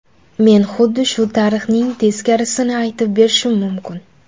Men xuddi shu tarixning teskarisini aytib berishim mumkin.